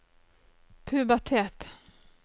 pubertet